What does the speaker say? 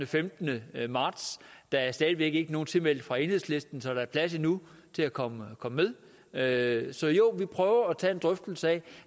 femtende marts der er stadig væk ikke nogen tilmeldte fra enhedslisten så der er plads endnu til at komme med så jo vi prøver at tage en drøftelse af